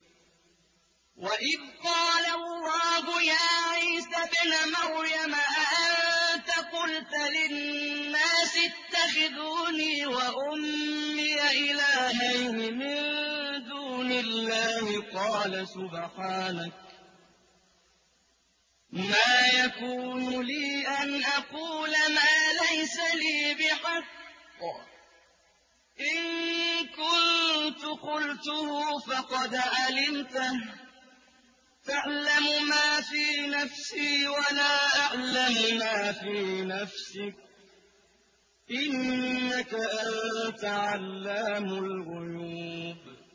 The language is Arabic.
وَإِذْ قَالَ اللَّهُ يَا عِيسَى ابْنَ مَرْيَمَ أَأَنتَ قُلْتَ لِلنَّاسِ اتَّخِذُونِي وَأُمِّيَ إِلَٰهَيْنِ مِن دُونِ اللَّهِ ۖ قَالَ سُبْحَانَكَ مَا يَكُونُ لِي أَنْ أَقُولَ مَا لَيْسَ لِي بِحَقٍّ ۚ إِن كُنتُ قُلْتُهُ فَقَدْ عَلِمْتَهُ ۚ تَعْلَمُ مَا فِي نَفْسِي وَلَا أَعْلَمُ مَا فِي نَفْسِكَ ۚ إِنَّكَ أَنتَ عَلَّامُ الْغُيُوبِ